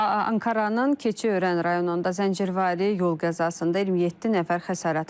Ankaranın Keçiörən rayonunda zəncirvari yol qəzasında 27 nəfər xəsarət alıb.